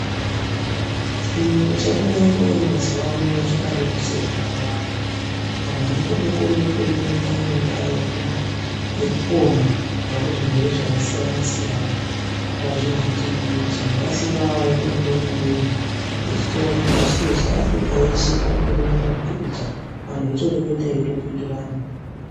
Chiyungu chakadai kuuya mazuwano chakareruse zvakawanda. Anhu akutokone kutoreketa ngendaa yekupona kubva kuzvirwere zvakasiyana-siyana pazvivhiti-vhiti pasina waende kune umweni. Vechitorana pashi reshe Afrika yeshe kwakutoonana pamipikicha anhu eyitoreketa eyitopindurana.